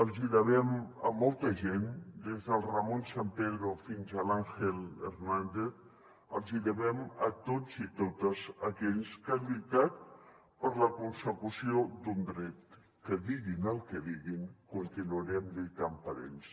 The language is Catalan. els hi devem a molta gent des del ramón sampedro fins a l’ángel hernández els hi devem a tots i totes aquells que han lluitat per la consecució d’un dret que diguin el que diguin continuarem lluitant per ells